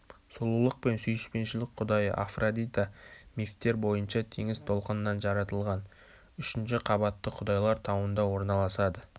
сұлулық пен сүйіспеншілік құдайы афродита мифтер бойынша теңіз толқынынан жаратылған үшінші қабатты құдайлар тауында орналасады